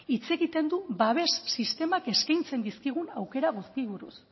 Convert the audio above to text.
hitz egiten du babes sistemak eskaintzen dizkigun aukera guztiei buruz